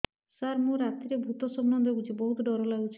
ସାର ମୁ ରାତିରେ ଭୁତ ସ୍ୱପ୍ନ ଦେଖୁଚି ବହୁତ ଡର ଲାଗୁଚି